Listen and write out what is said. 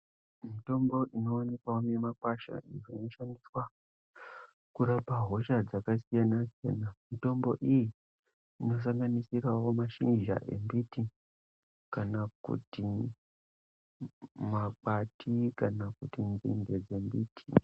Mitombo ino onekwawo mi makwasha iyo ino shandiswa kurapa hosha dzaka siyana siyana mitombo iyi ino sanganisirawo mashizha embiti kana kuti makwati kana kuti nzinde dze mbiti.